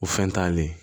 O fɛn t'ale